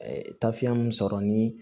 tafiyɛn min sɔrɔ ni